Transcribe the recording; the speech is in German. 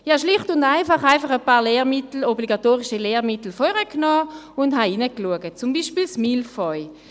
Ich habe schlicht und einfach ein paar Lehrmittel, obligatorische Lehrmittel, hervorgeholt und hineingeschaut, zum Beispiel das «Mille feuilles».